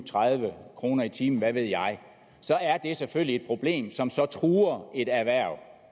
tredive kroner i timen hvad ved jeg så er det selvfølgelig et problem som så truer et erhverv